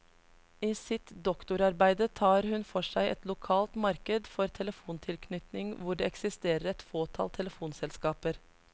I sitt doktorarbeide tar hun for seg et lokalt marked for telefontilknytning hvor det eksisterer et fåtall telefonselskaper.